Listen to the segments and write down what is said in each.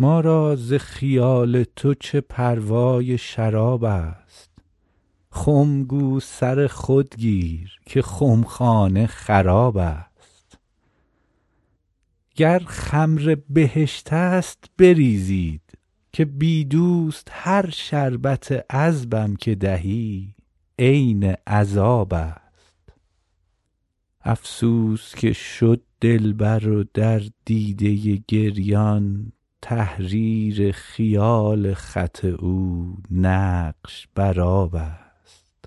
ما را ز خیال تو چه پروای شراب است خم گو سر خود گیر که خمخانه خراب است گر خمر بهشت است بریزید که بی دوست هر شربت عذبم که دهی عین عذاب است افسوس که شد دلبر و در دیده گریان تحریر خیال خط او نقش بر آب است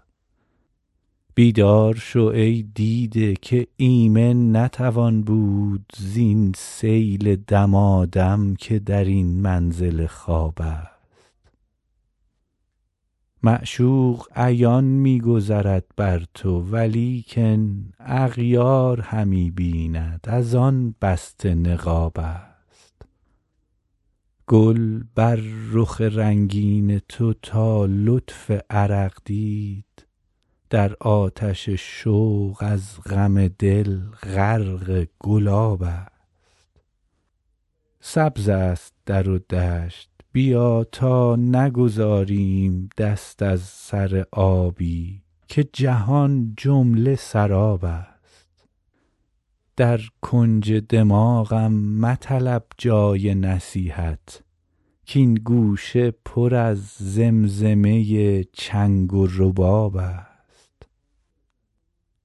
بیدار شو ای دیده که ایمن نتوان بود زین سیل دمادم که در این منزل خواب است معشوق عیان می گذرد بر تو ولیکن اغیار همی بیند از آن بسته نقاب است گل بر رخ رنگین تو تا لطف عرق دید در آتش شوق از غم دل غرق گلاب است سبز است در و دشت بیا تا نگذاریم دست از سر آبی که جهان جمله سراب است در کنج دماغم مطلب جای نصیحت کـ این گوشه پر از زمزمه چنگ و رباب است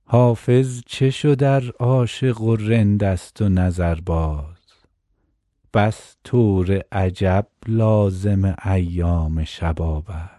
حافظ چه شد ار عاشق و رند است و نظرباز بس طور عجب لازم ایام شباب است